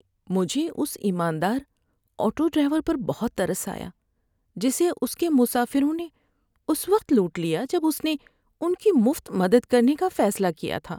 ‏مجھے اس ایماندار آٹو ڈرائیور پر بہت ترس آیا جسے اس کے مسافروں نے اس وقت لوٹ لیا جب اس نے ان کی مفت مدد کرنے کا فیصلہ کیا تھا۔